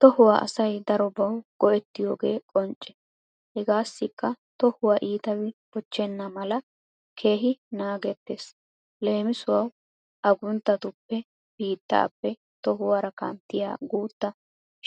Tohuwa asay darobbawu go"ettiyooge qonce. Hegassikka tohuwa ittabi bochenna mala keehi naagetettees leemisuwawu aggunttatuppe, bittappe tohuwara kanttiya guuta